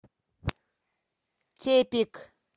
тепик